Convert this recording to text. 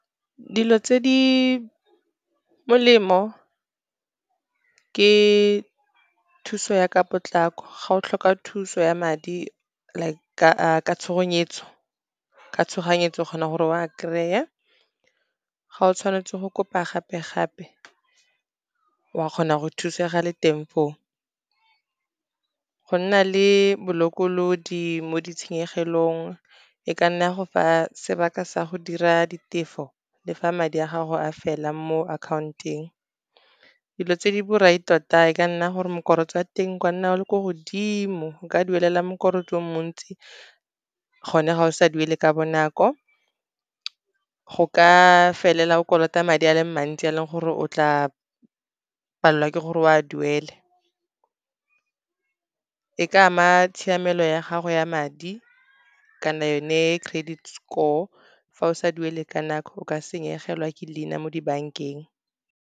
Dilo tse di molemo ke thuso ya ka potlako, ga o tlhoka thuso ya madi like ka tshoganyetso, o kgona gore o a kry-e, ga o tshwanetse go kopa gape-gape o a kgona go thusega le teng foo. Go nna le bolokolodi mo ditshenyegelong, e ka nna ya go fa sebaka sa go dira ditefo, le fa madi a gago a fela mo account-ong. Dilo tse di borai tota e ka nna gore oa teng kwa nna o le ko godimo, o ka duelela o mo ntsi, gone ga o sa duele ka bonako, go ka felela o kolota madi a le mantsi a leng gore o tla palelwa ke gore o a duele, e ka ama tshiamelo ya gago ya madi kana yone credit score, fa o sa duele ka nako o ka senyegelwa ke leina mo dibankeng.